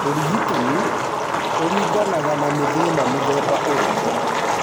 Ũrigitani ũringanaga na nĩ thĩna mũthemba ũrĩkũ.